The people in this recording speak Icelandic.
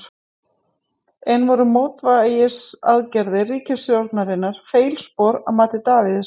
En voru mótvægisaðgerðir ríkisstjórnarinnar feilspor að mati Davíðs?